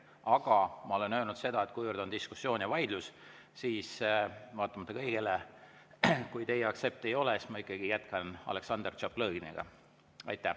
Aga ma olen öelnud seda, et kuivõrd on diskussioon ja vaidlus, siis vaatamata kõigele, kui teie aktsepti ei ole, ma ikkagi jätkan Aleksandr Tšaplõginiga.